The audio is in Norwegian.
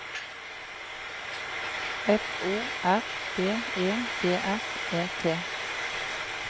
F O R B E D R E T